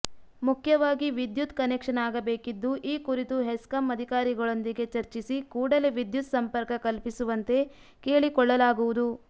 ಮುಖ್ಯವಾಗಿ ವಿದ್ಯುತ್ ಕನೆಕ್ಷನ್ ಆಗಬೇಕಿದ್ದು ಈ ಕುರಿತು ಹೆಸ್ಕಾಂ ಅಧಿಕಾರಿಗಳೊಂದಿಗೆ ಚರ್ಚಿಸಿ ಕೂಡಲೇ ವಿದ್ಯುತ್ ಸಂಪರ್ಕ ಕಲ್ಪಿಸುವಂತೆ ಕೇಳಿಕೊಳ್ಳಲಾಗುವುದು